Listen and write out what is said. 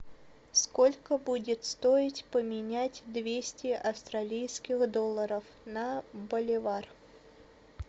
сколько будет стоить поменять двести австралийских долларов на боливар